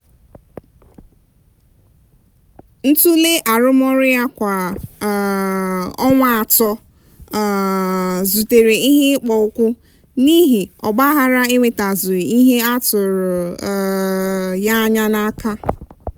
ntule arụmọrụ ya kwa um ọnwa atọ um zutere ihe ịkpọ ụkwụ n'ihi ogbaaghara enwetazughi ihe atụrụ um ya anya n'aka